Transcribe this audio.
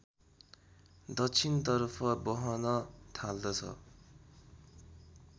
दक्षिणतर्फ बहन थाल्दछ